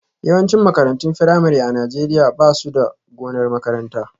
Yawancin makarantun firamare a Najeriya ba su da gonar makaranta